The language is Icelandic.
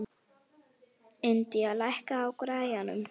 Indía, lækkaðu í græjunum.